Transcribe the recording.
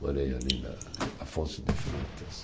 Morei ali na Afonso de Freitas.